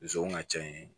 Zonw ka ca yen